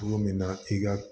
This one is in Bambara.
Cogo min na i ka